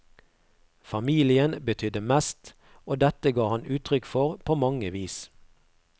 Familien betydde mest, og dette ga han uttrykk for på mange vis.